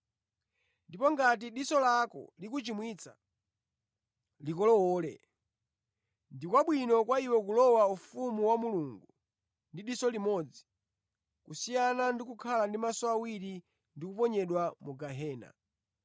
Ndipo ngati diso lako likuchimwitsa, likolowole. Ndi kwabwino kwa iwe kulowa ufumu wa Mulungu ndi diso limodzi, kusiyana ndi kukhala ndi maso awiri ndi kuponyedwa mu gehena,